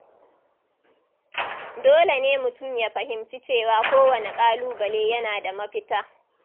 Dole ne mutum ya fahimci cewa kowane ƙalubale yana da mafita.